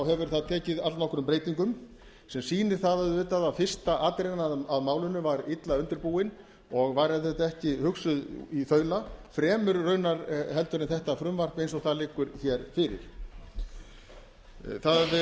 hefur það tekið allnokkrum breytingum sem sýnir það auðvitað að fyrsta atrennan að málinu var illa undirbúið og var ekki hugsuð í þaula fremur í rauninni heldur en þetta frumvarp eins og það liggur hér fyrir